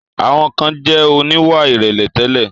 Àwọn kan jẹ̀ oníwà ìrẹ̀lẹ̀ tẹ́lẹ̀.